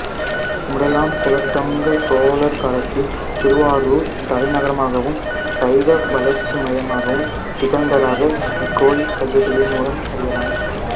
முதலாம் குலோத்துங்க சோழர் காலத்தில் திருவாரூர் தலைநகராமாகவும் சைவ வளர்ச்சி மையமாகவும் திகழ்ந்ததாக இக்கோயில் கல்வெட்டுகளின் மூலம் அறியலாம்